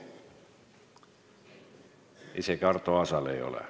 Isegi Arto Aasal ei ole.